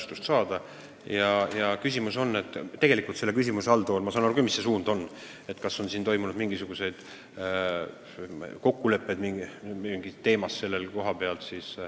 Tegelikult ma saan aru küll, mis suund selle küsimuse alltoonil on: sa tahad teada, kas sellel teemal on sõlmitud mingeid kokkuleppeid.